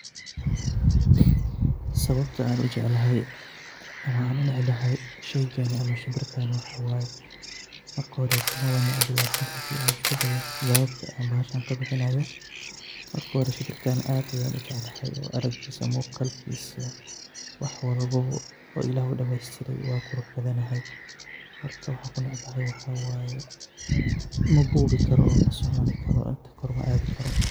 Sawabta an ujeclahay ama an unecbahay shimbirkan waxa waye. Marka mabanecbi lakin hadi an iskudayo jawabtani shimbirkan aad ayan ujeclahay muqalkisa wax walbo illah aya udamestire wu qurux badan yahay marka waxa an kunecbahay waxa waye mabuwi karo oo koor maadhi karo.